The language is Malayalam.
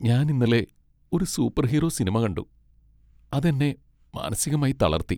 ഞാൻ ഇന്നലെ ഒരു സൂപ്പർഹീറോ സിനിമ കണ്ടു, അത് എന്നെ മാനസികമായി തളർത്തി.